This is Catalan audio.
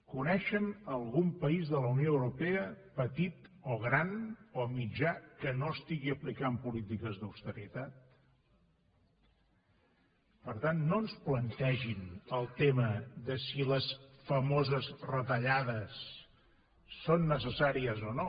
coneixen algun país de la unió europea petit o gran o mitjà que no estigui aplicant polítiques d’austeritat per tant no ens plantegin el tema de si les famoses retallades són necessàries o no